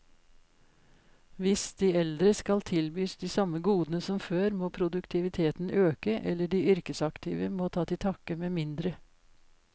Hvis de eldre skal tilbys de samme godene som før, må produktiviteten øke, eller de yrkesaktive må ta til takke med mindre.